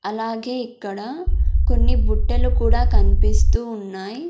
అలాగే ఇక్కడ కొన్ని బుట్టలు కూడా కన్పిస్తూ ఉన్నాయ్.